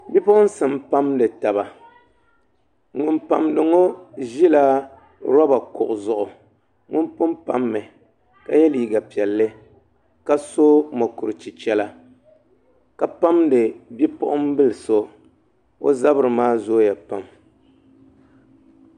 Bipuɣunsi n pamdi taba ŋun pamdi ŋo ʒila roba kuɣu zuɣu ŋun pun pammi ka yɛ liiga piɛlli ka so mokuru chichɛra ka pamdi bipuɣunbili so o zabiri maa zooya pam